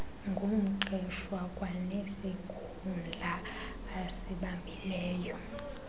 ngumqeshwa kwanesikhundla asibambileyo